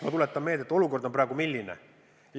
Ma tuletan meelde, et olukord on praegu milline?